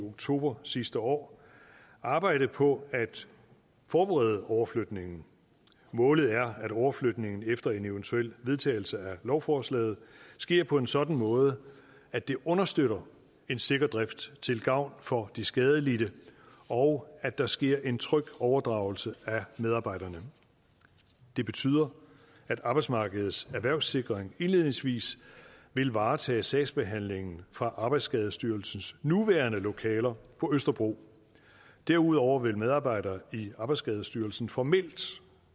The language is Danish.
oktober sidste år arbejdet på at forberede overflytningen målet er at overflytningen efter en eventuel vedtagelse af lovforslaget sker på en sådan måde at det understøtter en sikker drift til gavn for de skadelidte og at der sker en tryg overdragelse af medarbejderne det betyder at arbejdsmarkedets erhvervssikring indledningsvis vil varetage sagsbehandlingen fra arbejdsskadestyrelsens nuværende lokaler på østerbro derudover vil medarbejdere i arbejdsskadestyrelsen formelt